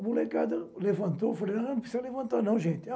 A molecada levantou, falei, não não precisa levantar não, gente.